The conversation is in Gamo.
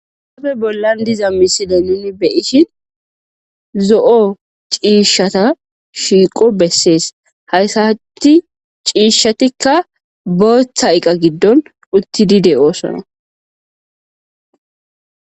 Haysafe bollan diza misilen nun be'eshn zo'o cishata shiqo beses cishatika botha eqa gidon utidi de'osona